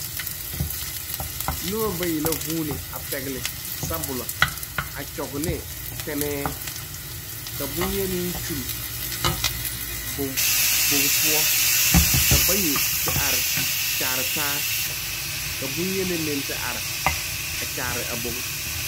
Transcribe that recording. Nuba bayi la zuuni a pɛgli sabulo a kyugi ne tenee ka bunyeni kyuli bog pou ka bayi te arẽ kyare taa ka bunyeni meng te arẽ a kyaare a bog.